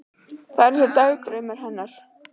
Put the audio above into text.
Þetta er eins og í dagdraumunum hennar.